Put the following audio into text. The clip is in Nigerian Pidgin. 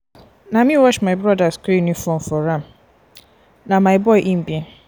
na me wash my broda skool uniform for am na my boy im be.